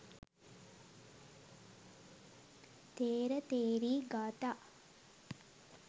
ථේර ථේරී ගාථා